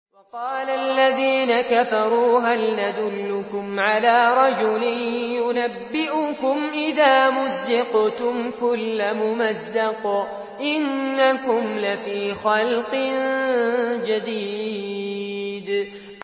وَقَالَ الَّذِينَ كَفَرُوا هَلْ نَدُلُّكُمْ عَلَىٰ رَجُلٍ يُنَبِّئُكُمْ إِذَا مُزِّقْتُمْ كُلَّ مُمَزَّقٍ إِنَّكُمْ لَفِي خَلْقٍ جَدِيدٍ